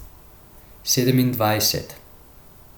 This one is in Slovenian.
Sedemindvajset.